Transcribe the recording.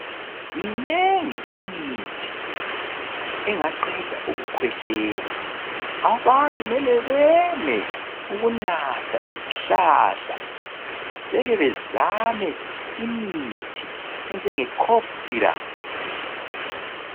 Minengi imithi engaqeda ukukhwehlela. Abantu mele beme ukunatha izihlahla beke bezame imithi enjenge cough syrup.